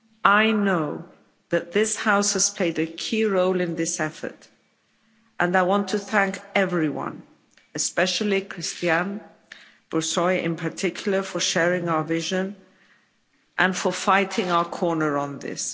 I know that this House has played a key role in this effort and I want to thank everyone, especially Cristian Buşoi in particular, for sharing our vision and for fighting our corner on this.